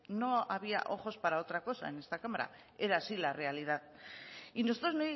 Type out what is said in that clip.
no había ojos para otra cosa en esta cámara era así la realidad y nosotros